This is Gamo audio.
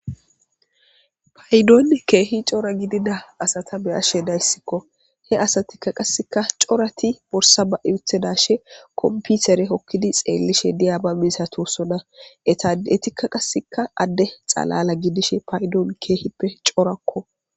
paydoonne keehi cora gidida asata beyashe dayssikko he asatikka qaseka corati borsa ba7iuthedashe komputere hokkidi xeellishe diyaaba misatossona etadetikka qasikka adde xalala gidishe paydoon keehippe corakko